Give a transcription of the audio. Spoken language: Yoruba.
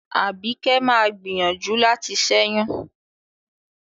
Àbíkẹ́ má a gbìyànjú láti ṣẹ́yún.